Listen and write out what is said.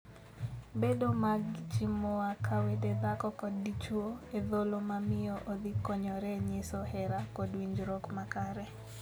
Bedo mag jii moa ka wede dhako kod dichwo e thuolo ma miyo odhi konyore nyiso hera kod winjruok makare.